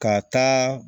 Ka taa